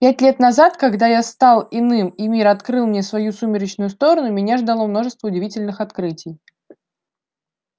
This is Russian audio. пять лет назад когда я стал иным и мир открыл мне свою сумеречную сторону меня ждало множество удивительных открытий